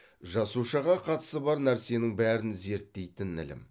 жасушаға қатысы бар нәрсенің бәрін зерттейтін ілім